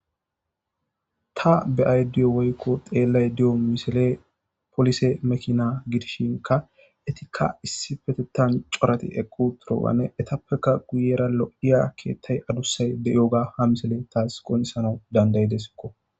Ta beadi woyikko xeeladio misileyi poliseti makina gidishshinikk itikka issippeteththani corati eqi uttidobanne etapoekka guyera loiya keeththeyi adusayi deiyoba ha misileyi tasi qoniccisanawu danidaidesikko